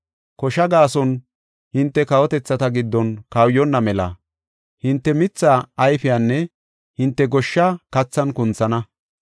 Koshaa gaason hinte kawotethata giddon kawuyonna mela hinte mitha ayfiyanne hinte goshsha kathan kunthana.